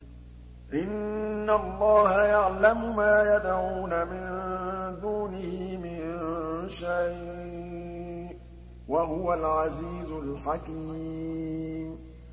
إِنَّ اللَّهَ يَعْلَمُ مَا يَدْعُونَ مِن دُونِهِ مِن شَيْءٍ ۚ وَهُوَ الْعَزِيزُ الْحَكِيمُ